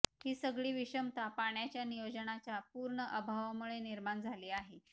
ही सगळी विषमता पाण्याच्या नियोजनाच्या पूर्ण अभावामुळे निर्माण झाली आहे